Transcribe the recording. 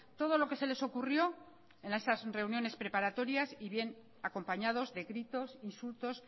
todo lo que se les ocurrió en esas reuniones preparatorias y bien acompañados de gritos insultos